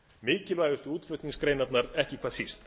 mikilvægustu útflutningsgreinarnar ekki hvað síst